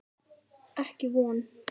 Ekki von.